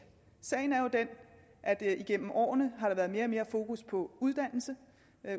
sagen er jo den at der igennem årene har været mere og mere fokus på uddannelse